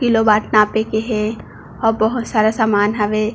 Kilo बाट नापे के हे और बहोत सारा सामान हावे।